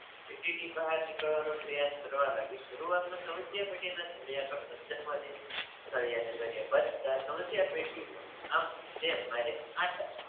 પેઢીની બહાર નીકળવાનો પ્રયાસ કરવા લાગી શરૂઆત સ્મધ્યા પેઢીના